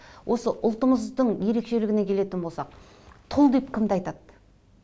осы ұлтымыздың ерекшелігіне келетін болсақ тұл деп кімді айтады